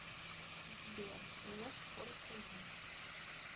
сбер нет только я